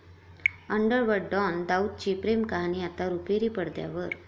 underworld don दाऊदची प्रेमकहाणी आता रुपेरी पडद्यावर